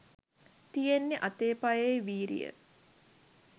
තියෙන්නෙ අතේ පයේ වීරිය